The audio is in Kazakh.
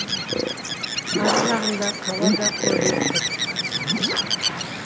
ары жағында қала да көрініп тұр